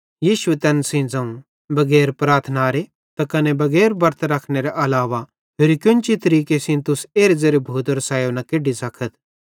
यीशुए तैन सेइं ज़ोवं बगैर प्रार्थनारे त कने बगैर बरत रखनेरे अलावा होरि केन्ची तरीके सेइं तुस एरे ज़ेरे भूतेरो सायो न केड्डी सकथ